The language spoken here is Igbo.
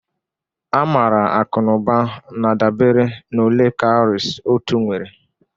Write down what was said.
A maara akụ na ụba na-adabere na ole cowries otu nwere